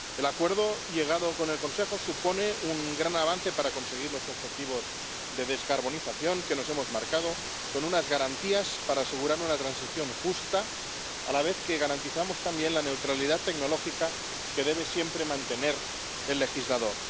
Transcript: El acuerdo al que se ha llegado con el Consejo supone un gran avance para conseguir los objetivos de descarbonización que nos hemos marcado, con unas garantías para asegurarnos la transición justa, a la vez que garantizamos también la neutralidad tecnológica que debe siempre mantener el legislador.